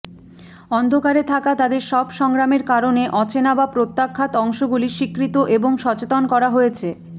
অন্ধকারে থাকা তাদের সব সংগ্রামের কারণে অচেনা বা প্রত্যাখ্যাত অংশগুলি স্বীকৃত এবং সচেতন করা হয়েছে